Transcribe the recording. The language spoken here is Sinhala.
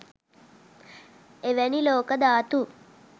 එවැනි ලෝක ධාතු